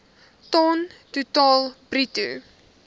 ton totaal bruto